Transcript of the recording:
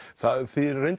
því er